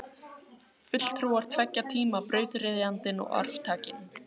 Fulltrúar tveggja tíma, brautryðjandinn og arftakinn.